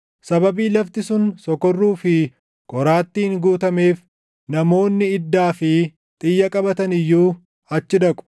Sababii lafti sun sokorruu fi qoraattiin guutameef, namoonni iddaa fi xiyya qabatan iyyuu achi dhaqu.